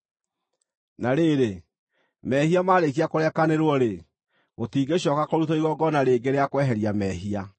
Na rĩrĩ, mehia marĩkia kũrekanĩrwo-rĩ, gũtingĩcooka kũrutwo igongona rĩngĩ rĩa kweheria mehia.